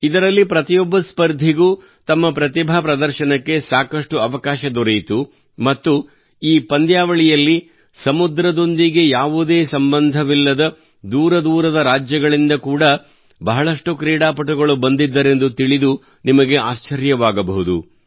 ಇದರಲ್ಲಿ ಪ್ರತಿಯೊಬ್ಬ ಸ್ಪರ್ಧಿಗೂ ತಮ್ಮ ಪ್ರತಿಭಾ ಪ್ರದರ್ಶನಕ್ಕೆ ಸಾಕಷ್ಟು ಅವಕಾಶ ದೊರೆಯಿತು ಮತ್ತು ಈ ಪಂದ್ಯಾವಳಿಯಲ್ಲಿ ಸಮುದ್ರದೊಂದಿಗೆ ಯಾವುದೇ ಸಂಬಂಧವಿಲ್ಲದ ದೂರ ದೂರದ ರಾಜ್ಯಗಳಿಂದ ಕೂಡಾ ಬಹಳಷ್ಟು ಕ್ರೀಡಾಪಟುಗಳು ಬಂದಿದ್ದರೆಂದು ತಿಳಿದು ನಿಮಗೆ ಆಶ್ಚರ್ಯವಾಗಬಹುದು